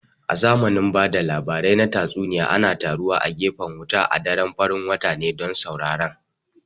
A zamanin ba da labarai na tatsuniya ana taruwa a gefen wuta a daren farin wata ne don sauren